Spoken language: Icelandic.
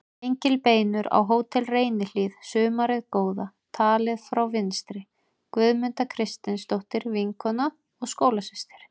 Gengilbeinur á Hótel Reynihlíð sumarið góða, talið frá vinstri: Guðmunda Kristinsdóttir, vinkona og skólasystir